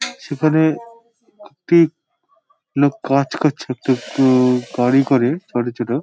সেখানে একটি লোক কাজ করছে একটি গাড়ি করে ছোট ছোট।